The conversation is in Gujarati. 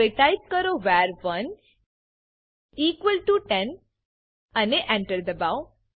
હવે ટાઈપ કરો વર1 ઇક્વલ ટીઓ 10 અને Enter દબાઓ